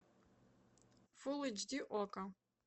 фулл эйч ди окко